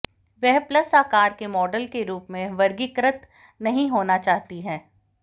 वह प्लस आकार के मॉडल के रूप में वर्गीकृत नहीं होना चाहती है